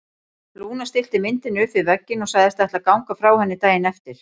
Lúna stillti myndinni upp við vegginn og sagðist ætla að ganga frá henni daginn eftir.